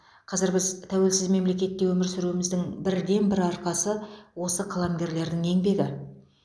қазір біз тәуелсіз мемлекетте өмір сүруіміздің бірден бір арқасы осы қаламгерлердің еңбегі